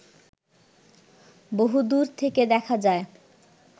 বহু দুর থেকে দেখা যায়